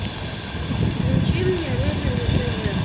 включи мне рыжий на тв